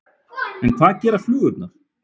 En hvað gera flugurnar?